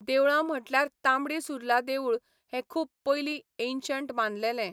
देवळां म्हटल्यार तांबडी सुर्ला देवूळ हें खूब पयलीं एन्शंट बांदलेलें.